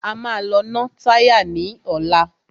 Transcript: A máa lọ ná táyà ní ọ̀la.